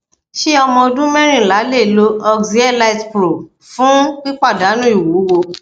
ṣé ọmọ ọdún mẹrìnlá lè lo oxyelitepro fun pipadanu iwuwo